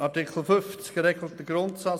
Artikel 50 regelt den Grundsatz: